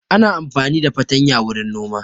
Ana amfani da fartanya wurin noma